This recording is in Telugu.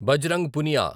బజరంగ్ పునియా